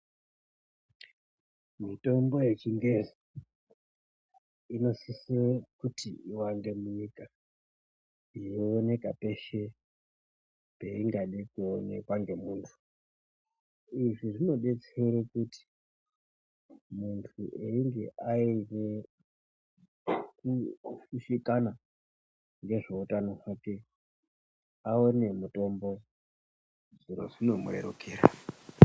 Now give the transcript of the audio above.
Mitombo yechingezi inosise kuti iwande munyika yeionekwa peshe peingade kuonekwa ngemuntu, izvi zvinodetsere kuti muntu ainge aine kushushikana nezveutano hwake aone mutombo zviro zvino murerukira.